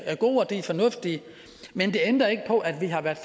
gode og de er fornuftige men det ændrer ikke på at vi har været